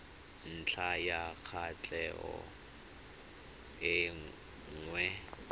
ntlha ya kwatlhao e nngwe